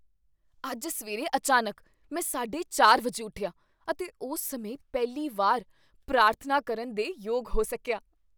ਅੱਜ ਸਵੇਰੇ ਅਚਾਨਕ ਮੈਂ ਸਾਢੇ ਚਾਰ ਵਜੇ ਉੱਠਿਆ ਅਤੇ ਉਸ ਸਮੇਂ ਪਹਿਲੀ ਵਾਰ ਪ੍ਰਾਰਥਨਾ ਕਰਨ ਦੇ ਯੋਗ ਹੋ ਸਕੀਆ